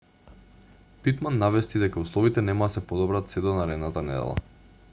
питман навести дека условите нема да се подобрат сѐ до наредната недела